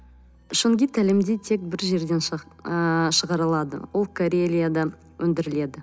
шунгит әлемде тек бір жерден ы шығарылады ол карелиядан өндіріледі